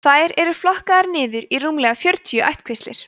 þær eru flokkaðar niður í rúmlega fjörutíu ættkvíslir